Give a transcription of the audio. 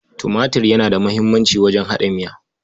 Tumatir yana da muhimmanci wajen haɗa miya.